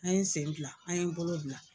An ye sen gilan, an ye bolo gilan.